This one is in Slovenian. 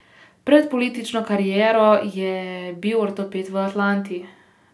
Pred politično kariero je bil ortoped v Atlanti.